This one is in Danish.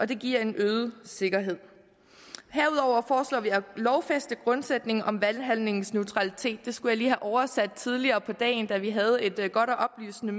det giver en øget sikkerhed herudover foreslår vi at lovfæste grundsætningen om valghandlingens neutralitet det skulle jeg lige have oversat tidligere på dagen da vi havde et godt og oplysende